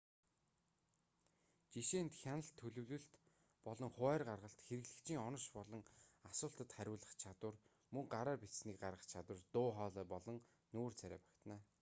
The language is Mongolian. жишээнд хяналт төлөвлөлт болон хуваарь гаргалт хэрэглэгчийн онош болон асуултад хариулах чадвар мөн гараар бичсэнийг гаргах чадвар дуу хоолой болон нүүр царай багтана